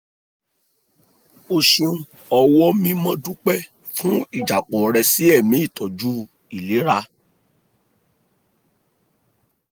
o ṣeun ọ̀wọ́ mimo dúpẹ́ fún ìjápọ̀ rẹ sí ẹ̀mí ìtọ́jú u ìlera